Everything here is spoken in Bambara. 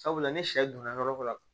Sabula ni sɛ donna yɔrɔ dɔ la